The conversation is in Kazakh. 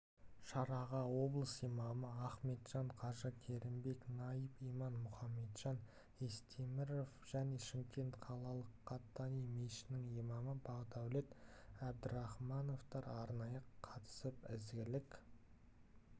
шараға облыс имамы ахметжан қажы керімбек найб имам мұхамеджан естеміров және шымкент қалалық қаттани мешітінің имамы бақдәулет абдірахмановтар арнайы қатысып ізгілік